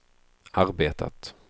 arbetat